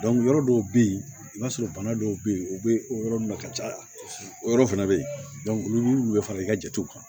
yɔrɔ dɔw bɛ yen i b'a sɔrɔ bana dɔw bɛ yen u bɛ o yɔrɔ ninnu na ka caya o yɔrɔ fana bɛ yen olu bɛ fara i ka jatew kan